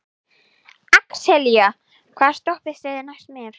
Axelía, hvaða stoppistöð er næst mér?